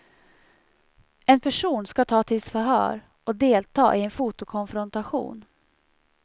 En person ska tas till förhör och delta i en fotokonfrontation.